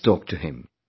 Let's talk to him